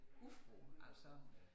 Udefra altså